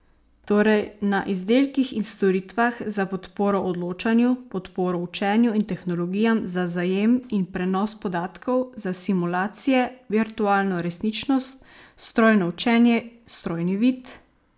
Torej na izdelkih in storitvah za podporo odločanju, podporo učenju in tehnologijam za zajem in prenos podatkov, za simulacije, virtualno resničnost, strojno učenje, strojni vid ...